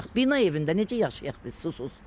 Bina evində necə yaşayaq biz susuz?